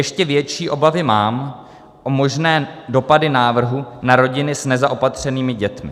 Ještě větší obavy mám o možné dopady návrhu na rodiny s nezaopatřenými dětmi.